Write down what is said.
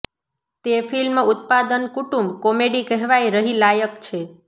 તે ફિલ્મ ઉત્પાદન કુટુંબ કોમેડી કહેવાય રહી લાયક છે